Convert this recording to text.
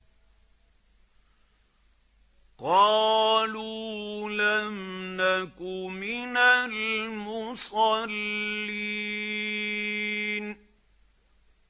قَالُوا لَمْ نَكُ مِنَ الْمُصَلِّينَ